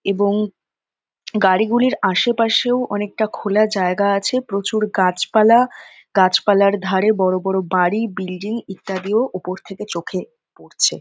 এবং গাড়ি গুলির আশেপাশেও অনেকটা খোলা জায়গায় আছে। প্রচুর গাছপালা গাছেপালার ধারে বড়ো বড়ো বাড়ি বিল্ডিং ইত্যাদিও উপর দিয়ে চোখে পড়ছে।